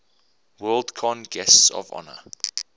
worldcon guests of honor